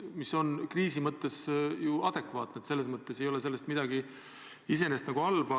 Mis on kriisi ajal ju adekvaatne ja selles ei ole iseenesest midagi halba.